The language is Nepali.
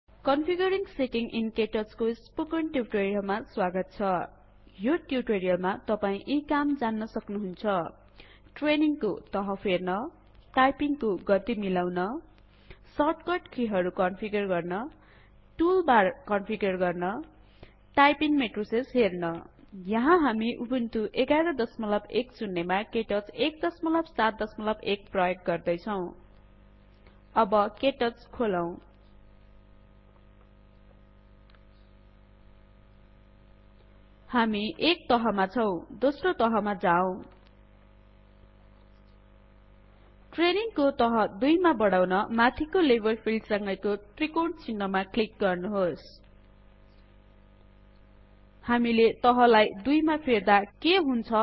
कन्फिगरिंग सेटिंग इन केटच को स्पोकन ट्यूटोरियल मा स्वागत छ यो ट्यूटोरियलमा तपाई यी काम जान्नुहुन्छ ट्रेनिंग को तह फेर्न टाइपिंग को गति मिलाउन सर्टकट की हरु कन्फिगर गर्न टूलबार्स कन्फिगर गर्न टाइपिंग मेट्रिसेस हेर्न यहाँ हामी उबुन्टु १११० मा केटच १७१ प्रयोग गर्दैछौं अब केटच खोलौँ दोस्रो तहमा जाऔं ट्रेनिंग को तह २ मा बढाउन माथिको लेभल फिल्ड सँगैको त्रिकोण चिन्हमा क्लिक गर्नुहोस् हामीले तहलाई २ मा फेर्दा के हुन्छ